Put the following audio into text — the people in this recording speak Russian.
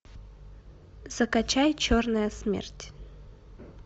закачай черная смерть